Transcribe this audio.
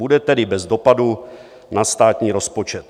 Bude tedy bez dopadu na státní rozpočet.